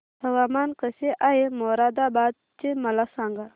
हवामान कसे आहे मोरादाबाद चे मला सांगा